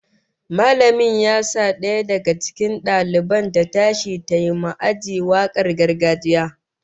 Mallamin ya sa daya daga cikin daliban ta tashi tayi ma aji wakar gargajiya